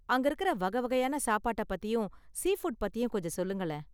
அங்க இருக்குற வகை வகையான சாப்பாட்டை பத்தியும், சீ ஃபுட் பத்தியும் கொஞ்சம் சொல்லுங்களேன்.